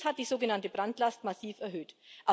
Dies hat die sogenannte Brandlast massiv erhöht.